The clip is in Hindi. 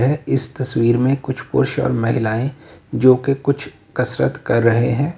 वह इस तस्वीर में कुछ पुरुष और महिलाएं जो कि कुछ कसरत कर रहे हैं।